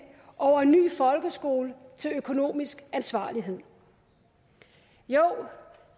over en ny folkeskole til økonomisk ansvarlighed jo